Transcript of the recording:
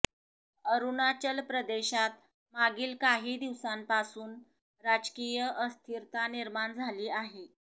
अरुणाचल प्रदेशात मागील काही दिवसांपासून राजकीय अस्थिरता निर्माण झाली आहे